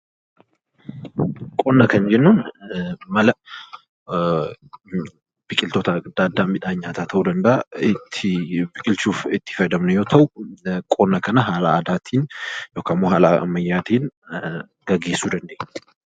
Qonna kan jennu mala yookaan wantoota adda addaa midhan nyaataa ta'uu danda'a. Ittiin biqilchuuf kan itti fayyadamne yoo ta'u, qonna kana haala aadaatiin yookaan immoo haala ammayyaatiin gaggeessuu dandeenya.